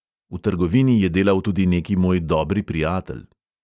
V trgovini je delal tudi neki moj dobri prijatelj.